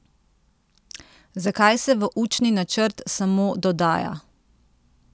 Zakaj se v učni načrt samo dodaja?